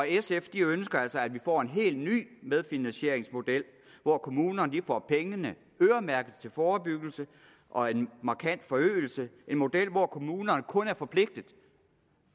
sf ønsker altså at vi får en helt ny medfinansieringsmodel hvor kommunerne får pengene øremærket til forebyggelse og en markant forøgelse en model hvor kommunerne kun er forpligtet